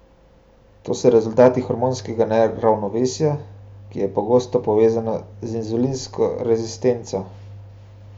Te so rezultat hormonskega neravnovesja, ki je pogosto povezano z inzulinsko rezistenco.